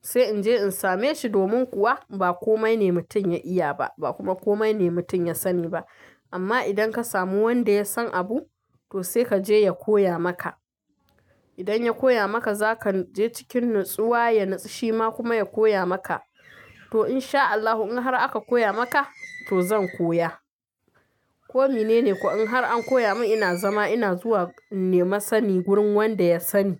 sai in je in same shi. Domin kuwa ba komai ne mutum ya iya ba, ba kuma komai ne mutum ya sani ba. Amma idan ka samu wanda ya san abu, to sai ka je ya koya maka. Idan ya koya maka, za ka je cikin natsuwa, ya natsu shi ma kuma ya koya maka. To in sha Allahu, in har aka koya maka, to zan koya. Komi ne ko in har an koya min, ina zama ina zuwa in nemi sani wurin wanda ya sani.